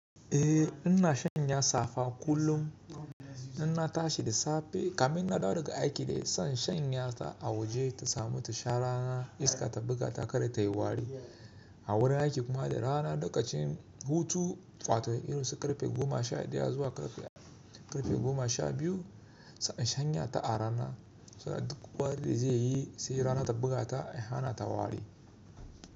Eh, ina sanya safa kullum. Ina tashi da safe, kamin na dawo daga aiki ne, son shanya ta a waje ta samu ta sha rana, iska ta buga ta kar ta yi wari. A wurin aiki kuma da rana, lokacin hutu, wato irin su ƙarfe goma sha ɗaya zuwa ƙarfe goma sha biyu, sai in shanya ta a rana, saboda duk wari da zai yi, sai rana ta buga ta, i hana ta wari.